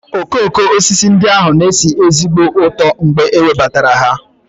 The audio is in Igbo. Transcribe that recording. Okooko osisi ndị ahụ na-esi ezigbo ụtọ mgbe e webatara ha.